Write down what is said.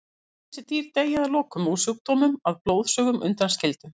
Öll þessi dýr deyja að lokum úr sjúkdómnum að blóðsugunum undanskildum.